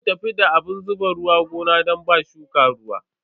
Za mu tafi da abun zuba ruwa gona don ba shuka ruwa.